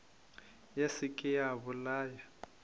ya se ke ya bolaya